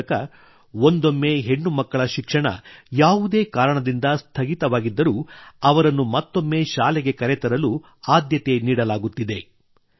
ಆ ಮೂಲಕ ಒಂದೊಮ್ಮೆ ಹೆಣ್ಣುಮಕ್ಕಳ ಶಿಕ್ಷಣ ಯಾವುದೇ ಕಾರಣದಿಂದ ಸ್ಥಗಿತವಾಗಿದ್ದರೂ ಅವರನ್ನು ಮತ್ತೊಮ್ಮೆ ಶಾಲೆಗೆ ಕರೆತರಲು ಆದ್ಯತೆ ನೀಡಲಾಗುತ್ತಿದೆ